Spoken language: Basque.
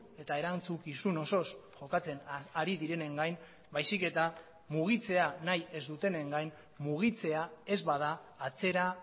eta erantzukizun osoz jokatzen ari direnen gain baizik eta mugitzea nahi ez dutenen gain mugitzea ez bada atzera